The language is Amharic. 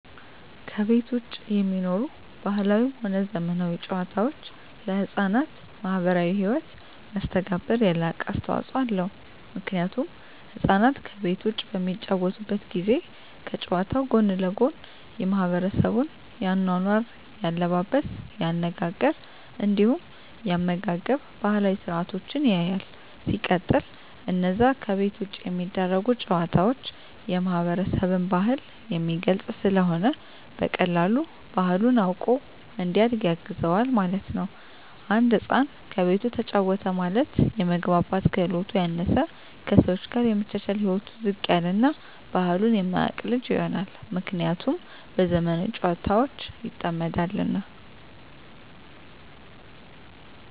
ከቤት ዉጪ የሚኖሩ ባህላዊም ሆነ ዘመናዊ ጨዋታወች ለሕፃናት ማህበራዊ ህይወት መስተጋብር የላቀ አስተዋጾ አለዉ ምክንያቱም ህፃናት ከቤት ዉጪ በሚጫወቱበት ጊዜ ከጨዋታዉ ጎን ለጎን የማሕበረሰቡን የአኗኗር፣ የአለባበስ፤ የአነጋገር እንዲሁም የአመጋገብ ባህላዊ ስርአቶችን ያያል። ሲቀጥል አነዛ ከቤት ዉጪ የሚደረጉ ጨዋታወች የማህበረሰብን ባህል የሚገልጽ ስለሆነ በቀላሉ ባህሉን አዉቆ እንዲያድግ ያግዘዋል ማለት ነዉ። አንድ ህፃን ከቤቱ ተጫወተ ማለት የመግባባት ክህሎቱ ያነሰ፣ ከሰወች ጋር የመቻቻል ህይወቱ ዝቅ ያለ እና ባህሉን የማያቅ ልጅ ይሆናል። ምክንያቱም በዘመናዊ ጨዋታወች ይጠመዳልና።